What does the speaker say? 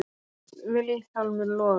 Finnst Vilhjálmur loga.